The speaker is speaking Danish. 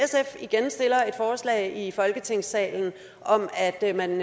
igen stiller et forslag i folketingssalen om at at man